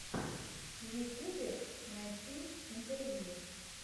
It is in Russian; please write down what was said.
в ютюбе найти интервью